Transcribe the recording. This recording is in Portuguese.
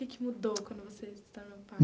O que que mudou quando você se tornou pai?